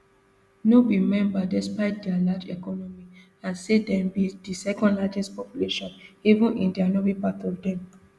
no be member despite dia large economy and say dem be di secondlargest population even india no be part of dem